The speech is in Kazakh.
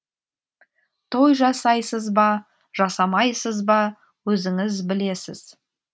той жасайсыз ба жасамайсыз ба өзіңіз білесіз